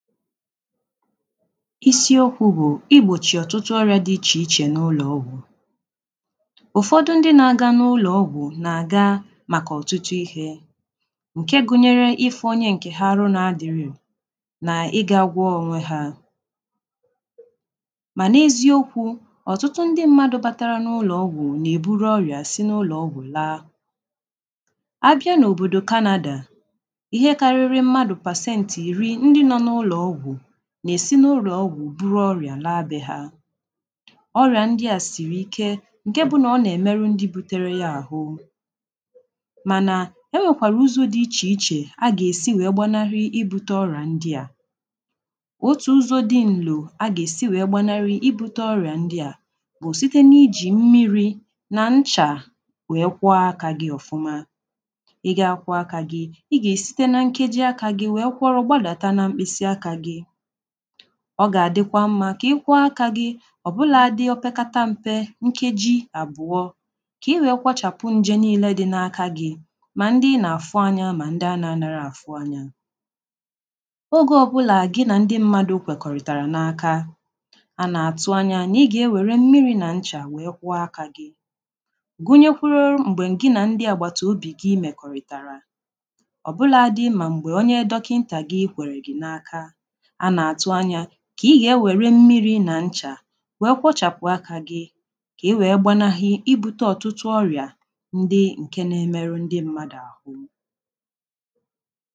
isiokwu̇ bụ̀ igbòchì ọtụtụ ọrị̇ȧ dị ichè ichè n’ụlọ̀ọgwụ̀ ụ̀fọdụ ndị n’aga n’ụlọ̀ọgwụ̀ nà-aga màkà ọ̀tụtụ ihė ǹke gụnyere ifu̇ onye ǹkè ha arụ na-adịrị ǹka na ịgȧ agwọ onwe hȧ mà n’ezi okwu̇ ọ̀tụtụ ndị mmadụ̇ batara n’ụlọ̀ọgwụ̀ nà-èburu ọrị̀à si n’ụlọ̀ọgwụ̀ laa abịa n’òbòdò canada ihe karịrị mmadụ̇ pasentị na-esi n’ụlọ̀ ọgwụ̀ buru ọrịà laa abịà ọrịà ndị à siri ike ǹke bụ nà ọ nà-èmeru ndị butere ya àhụ mànà e nwèkwàrà ụzọ̇ dị ichè ichè a gà-èsi wee gbanahị i bute ọrịa ndị à otù ụzọ̀ dị ǹlò a gà-èsi wee gbanahị i bute ọrịà ndị à bụ̀ site na-ijì mmiri̇ na nchà wee kwọọ akȧ gị̇ ọ̀fụma ị gȧ kwọ akȧ gị̇ ị gà-èsite na nkeji akȧ gị̇ wee kwọrọ gbalàta na mkpịsị akà gị̇ ọ ga-adịkwa mma ka ị kụọ aka gị ọbụladị o pekata mpe nkeji abụọ ka i wee kwachapụ nje niile dị n’aka gị ma ndị n’afụ anya ma ndị a na-anara afụ anya ogė ọbụla gị na ndị mmadụ kwekọrịtara n’aka a na-atụ anya na ị ga-enwere mmiri na ncha wee kwa aka gị gụnyekwuru mgbe m gị na ndị agbatụ obi gị mekọrịtara ọbụladị ma mgbe onye dọkịnta gị ikwere gị n’aka kà ị gà-ewere mmiri nà ncha wee kwọchapụ̀ akȧ gị kà ị wee gbanaghị i bute ọtụtụ ọrị̀a ndị ǹke nȧ-emerụ ndị mmadụ̀ àhụ